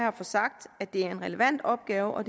at få sagt at det er en relevant opgave og